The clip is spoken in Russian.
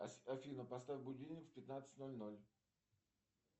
афина поставь будильник в пятнадцать ноль ноль